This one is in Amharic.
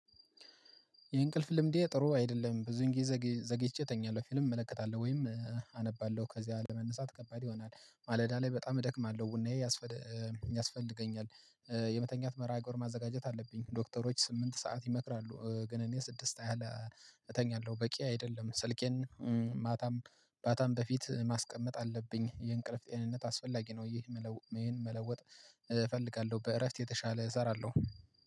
የእንቅልፍ ልምዴ ጥሩ አይደለም ብዙን ጊዜ ዘግይቼ እተኛለሁ ፊልም እመለከታለሁ ወይም አነባለሁ ከዚያ ለመነሳት ከባድ ይሆናል ማለዳ ላይ በጣም እደክማለሁ ቡናዬ ያስ ያስፈልገኛል። የመተኛት መርሃ ግብር ማዘጋጀት አለብኝ። ዶክተሮች ስምንት ሰዓት ይመክራሉ ግን እኔ ስድስት አለ እተኛለሁ በቂ አይደለም። ስልኬን ማታም ባታም በፊት ማስቀመጥ አለብኝ የእንቅልፍት አይነት አስፈላጊ ነው። ይህን መለወጥ እፈልጋለሁ። በእረፍት የተሻለ እሰራለሁ